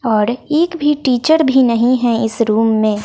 और एक भी टीचर भी नहीं हैं इस रूम में।